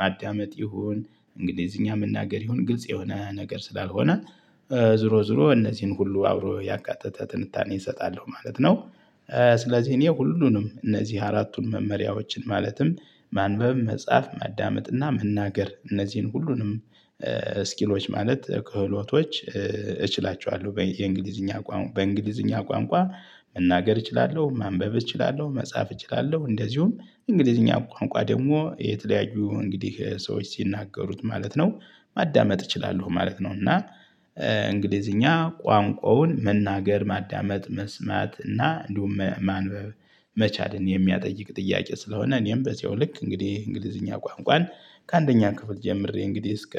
ማዳመጥ ይሁን እንግሊዝኛ መናገር ይሁን ግልጽ የሆነ ነገር ስላልሆነ። ዞሮ ዞሮ እነዚህን ሁሉ አብሮ ያቃተተ ትንታኔ እሰጣለሁ ማለት ነው። ስለዚህ እኔ ሁሉንም እነዚህ አራቱን መመሪያዎችን ማለትም ማንበብ መጻፍ ማዳመጥ እና መናገር እነዚህን ሁሉንም ስኪሎች ማለት ክህሎቶች እችላቸዋለሁ የእንግሊዝኛ ቋንቋ በእንግሊዝኛ ቋንቋ መናገር እችላለሁ ማንበብ እችላለሁ መጻፍ እችላለሁ እንደዚሁም እንግሊዝኛ ቋንቋ ደግሞ የተለያዩ እንግዲህ ሰዎች ሲናገሩት ማለት ነው። ማዳመጥ እችላለሁ ማለት ነው። እና እንግሊዝኛ ቋንቋውን መናገር ማዳመጥ መስማት እና እንዲሁም ማንበብ መቻልን የሚጠይቅ ጥያቄ ስለሆነ። እኔም በዚያው ልክ እንግዲህ እንግሊዝኛ ቋንቋን ከአንደኛ ክፍል ጀምሬ እንግዲህ እስከ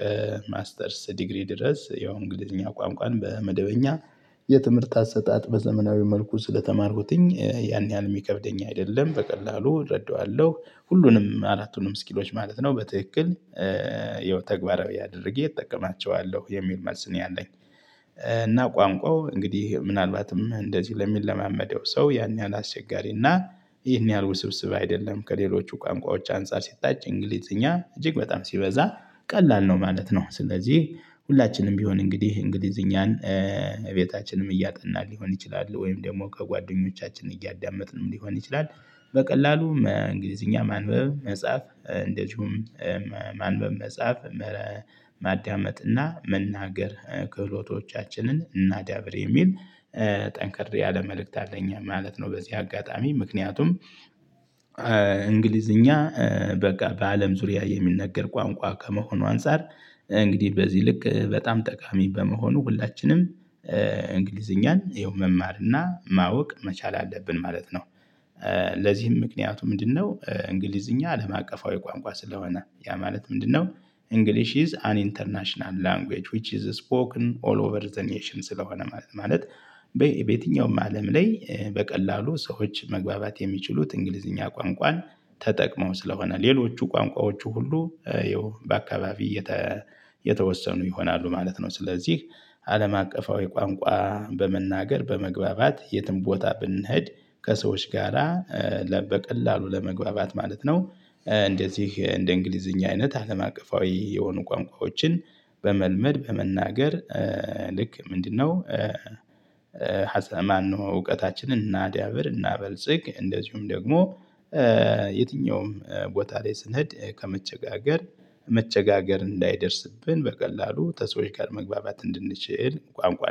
ማስተርስ ዲግሪ ድረስ ያው እንግሊዝኛ ቋንቋን በመደበኛ የትምህርት አሰጣጥ በዘመናዊ መልኩ ስለተማርኩትኝ ያን ያህል የሚከብደኝ አይደለም በቀላሉ እረዳዋለሁ ሁሉንም አራቱንም ስኪሎች ማለት ነው። በትክክል ያው ተግባራዊ አድርጌ እጠቀማቸዋለሁ የሚል መልስ ነው ያለኝ። እና ቋንቋው እንግዲህ ምናልባትም እንደዚህ ለሚለማመደው ሰው ያን ያህል አስቸጋሪና ይህን ያህል ውስብስብ አይደለም። ከሌሎቹ ቋንቋዎች አንፃር ሲታይ እንግሊዝኛ እጅግ በጣም ሲበዛ ቀላል ነው ማለት ነው። ስለዚህ ሁላችንም ቢሆን እንግዲህ እንግሊዝኛን ቤታችንም እያጠናን ሊሆን ይችላል ወይም ደግሞ ከጓደኞቻችን እያዳመጥንም ሊሆን ይችላል። በቀላሉ እንግሊዝኛ ማንበብ መጻፍ እንደዚሁም ማንበብ መጻፍ ማዳመጥ እና መናገር ክህሎቶቻችንን እናዳብር የሚል ጠንክር ያለ መልእክት አለኝ ማለት ነው። በዚህ አጋጣሚ ምክንያቱም። እንግሊዝኛ በቃ በአለም ዙሪያ የሚነገር ቋንቋ ከመሆኑ አንፃር እንግዲህ በዚህ ልክ በጣም ጠቃሚ በመሆኑ ሁላችንም እንግሊዝኛን ያው መናገ እና ማወቅ መቻል አለብን ማለት ነው። ለዚህም ምክንያቱ ምንድነው? እንግሊዝኛ አለም አቀፋዊ ቋንቋ ስለሆነ ያ ማለት ምንድነው? እንግሊሽ ኢዝ አን ኢንተርናሽናል ላንጉጅ ዊች ኢዝ ስፖከን ኦል ኦቨር ዘ ኔሽን ስለሆነ ማለት በየትኛውም አለም ላይ በቀላሉ ሰዎች መግባባት የሚችሉት እንግሊዝኛ ቋንቋን ተጠቅመው ስለሆነ ሌሎቹ ቋንቋዎቹ ሁሉ ያው በአካባቢ የተወሰኑ ይሆናሉ ማለት ነው። ስለዚህ አለም አቀፋዊ ቋንቋ በመናገር በመግባባት የትም ቦታ ብንሄድ ከሰዎች ጋራ በቀላሉ ለመግባባት ማለት ነው። እንደዚህ እንደ እንግሊዝኛ አይነት አለም አቀፋዊ የሆኑ ቋንቋዎችን በመልመድ በመናገር ልክ ምንድነው? ማነው እውቀታችንን እናዳብር እናበልጽግ እንደዚሁም ደግሞ የትኛውም ቦታ ላይ ስንሄድ ከመቸጋገር መቸጋገር እንዳይደርስብን በቀላሉ ከሰዎች ጋር መግባባት እንድንችል ቋንቋ